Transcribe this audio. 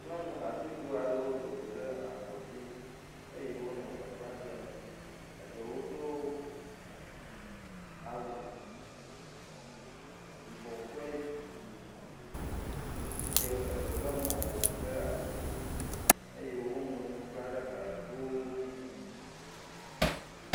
nyɔŋu hatsotso aɖewo dogo ɖe ablɔdzi eye wóle gbeƒa ɖem eɖewo do awu yibɔ kple yi eye eɖewo le mɔƒoŋu ɖe asi eye wó ŋlo ŋu kla ɖe gbalego dzi